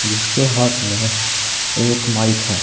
उसके हाथ में एक माइक है।